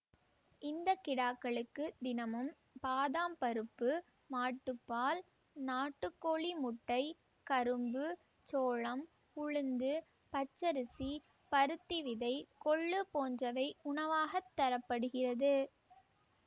இந்த கிடாக்களுக்கு தினமும் பாதாம் பருப்பு மாட்டுப்பால் நாட்டுக்கோழி முட்டை கரும்பு சோளம் உளுந்து பச்சரிசி பருத்தி விதை கொள்ளு போன்றவை உணவாகத் தர படுகிறது